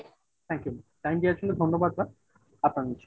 thank you time দেওয়ার জন্য ধন্যবাদ ,আপনার দিন শুভ হক